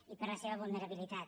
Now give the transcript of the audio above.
i per la seva vulnerabilitat